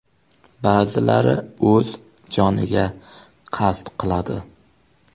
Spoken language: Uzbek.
Ba’zilari o‘z joniga qasd qiladi.